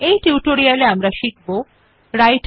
এই টিউটোরিয়াল আমরা নিম্নলিখিত শিখতে